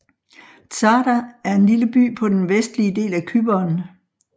Tsáda er en lille by på den vestlige del af Cypern